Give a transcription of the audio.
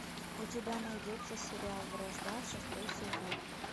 у тебя найдется сериал вражда шестой сезон